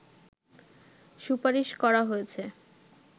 সুপারিশ করা হয়েছে